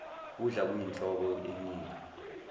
kudla kuyinhlobo enika